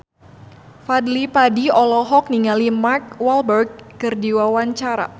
Fadly Padi olohok ningali Mark Walberg keur diwawancara